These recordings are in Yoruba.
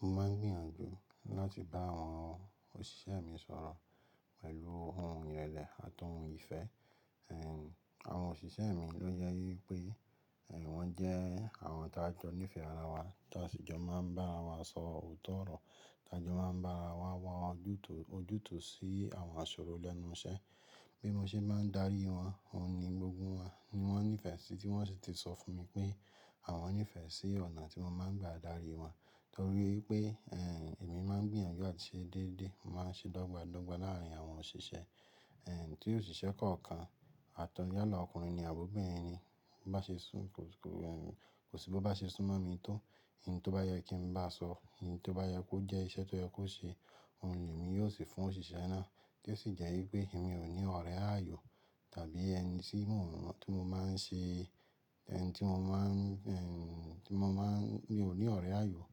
Mo máa ń gbìyànjú láti bá àwọn òṣìṣẹ́ mi sọ̀rọ̀ pẹ̀lú ohun ìrẹ̀lẹ̀ àti ohun ìfẹ́, àwọn òṣìṣẹ́ mi ló jásí wípé. Wón jẹ́ àwọn tí a jọ ní ìfẹ́ ara wa, tí a sì jọ máa ń bá ara wa sọ òótọ́ ọ̀rọ̀, tí a jọ máa ń bá ara wa wọ ojútùú, ojútùú sí àwọn àṣòrọ̀ lẹ́nu iṣẹ́. Bí mo ṣe bá ń darí wọn, òun ni gbogbo wọn ni wọ́n nífẹ̀ẹ́ sí, tí wọ́n sì ti sọ fún mi pé àwọn nífẹ̀ẹ́ sí ọ̀nà tí mo máa ń gba darí wọn, torí pé, èmi máa ń gbìyànjú àti ṣe déédéé, màá ṣe dọ́gba dọ́gba láàrín àwọn òṣìṣẹ́. Tí òṣìṣẹ́ kọ̀ọ̀kan, àtọ́n yálà ọkùnrin ni àbọ̀ ọ̀bẹrin ni, bá ṣe sún kò, kò sí bí ó bá ṣe sún mọ́ mi tó, ohun tó bá yẹ kí n bá a sọ, ohun tó bá yẹ kó jẹ́ iṣẹ́ tó yẹ kó ṣe, òun ni èmi yóò sì fún òṣìṣẹ́ náà. Yo sì jẹ́ wípé èmi ò ní ọ̀rẹ́ ayọ̀ tàbí ẹni tí mo máa ń ṣe, ẹni tó mo máa ń mio ní ọ̀rẹ́ ayọ̀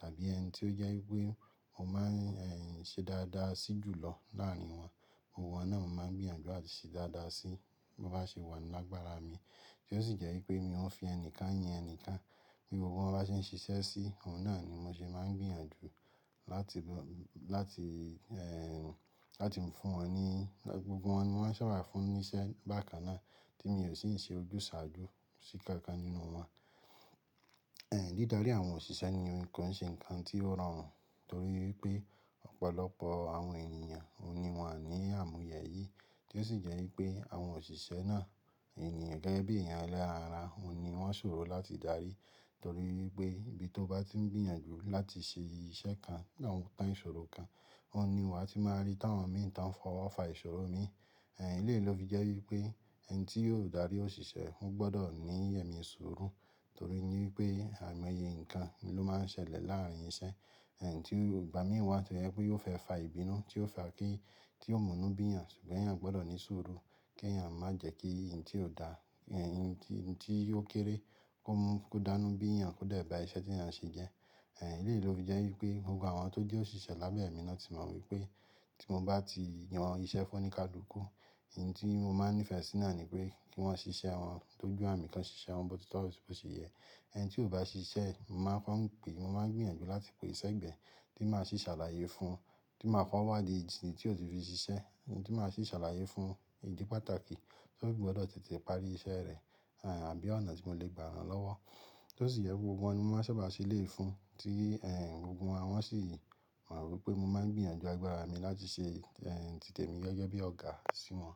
tàbí ẹni tí ó ji wípé mo máa ń ṣe dáadáa sí jùlọ láàrín wọn. Gbogbo wọ́n náà mo máa ń gbìyànjú àti ṣe dáadáa sí, bo bá ṣe wà nínú agbára mi. Tí ó sì jẹ́ wípé mi ò ń fi ẹnìkan yan ẹnìkan, bí gbogbo wọn bá ṣe ń ṣiṣẹ́ sí i, òun náà ni mo ṣe máa ń gbìyànjú láti ba, láti, láti mo fún wọn ní, gbogbo wọn ni mo máa ń ṣaba fún níṣẹ́ bákan náà tí mo yóò sì ń ṣe ojúsàájú sí kọ̀ọ̀kan nínú wọn. Dídarí àwọn òṣìṣẹ́ ni ohun kon ṣe nǹkan tí ó rọrùn torí wípé ọ̀pọ̀lọpọ̀ àwọn ènìyàn òun ni wọn àní àmúyẹ yìí, tí ó sì jẹ́ wípé àwọn òṣìṣẹ́ náà, ènìyàn gẹ́gẹ́ bí i èèyàn elẹ́ran ara, òun ni wọ́n ṣo o láti darí torí wípé ibi tó bá ti ń gbìyànjú láti ṣe iṣẹ́ kan ní àwọn tán ìṣòro kan, òun ni wà tí máa rí táwọn mìí tí awọ́n mi tan fọwọ́ fa ìṣòro mi. Eléyìí ló fi jẹ́ wípé ẹni tí yóò darí òṣìṣẹ́ ó gbọdọ̀ ní ẹ̀mí surú torí wípé àìmọye nǹkan ló máa ń ṣẹlẹ̀ láàrín iṣẹ́. Tí ò gba mìí tọ́ yẹ pé yóò fẹ́ fa ìbínú tí ó fa kí, tí ó mú inú bíyàn ṣùgbọ́n èèyàn gbọdọ̀ ní sùúrù kí èèyàn má jẹ́ kí ohun tí ó dá, ohun tí, ohun tí yóó kéré kó mú, kó dánú bíyàn kódà ba iṣẹ́ tí èèyàn ṣe jẹ́. Eléyìí ló fi jẹ́ wípé gbogbo àwọn tó jẹ́ òṣìṣẹ́ lábẹ́ mi náà ti mọ̀ wípé tí mo bá ti yan iṣẹ́ fún un oní kálukú, ohun tí mo máa ń nífẹ̀ẹ́ sí náà ni pé kí wọ́n ṣe iṣẹ́ wọn dójú àmì, kí wọ́n ṣe iṣẹ́ wọn bó ti tọ́, àti bó ṣe yẹ. Ẹni tí ò bá ṣe iṣẹ́, mo máa ń kọ́n pè, mo máa ń gbìyànjú láti pè ẹ́ sẹ́gbẹ̀ẹ́ tí màá sì ṣàlàyé fún un, tí màá ko wádìí ìdí tí ó ti fi ṣe iṣẹ́, tí màá sì ṣàlàyé fún un ìdí pàtàkì tó fí gbọdọ̀ tètè parí iṣẹ́ rẹ̀, àbí ọ̀nà tí mó lè gbà rán lọ́wọ́. Tí ó sì yẹ pé gbogbo wọn ni wọ́n máa ń ṣọ́ra ṣe eléyìí fún, tí gbogbo wọn sì mọ̀ wípé mo máa ń gbìyànjú agbára mi láti ṣe, ti tèmi gẹ́gẹ́ bí ọ̀gá sí wọn.